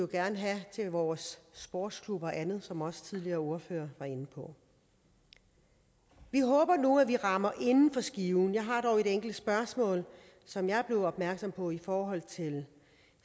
gerne have til vores sportsklubber og andet som også tidligere ordførere var inde på vi håber nu at vi rammer inden for skiven jeg har blot et enkelt spørgsmål som jeg er blevet opmærksom på i forhold til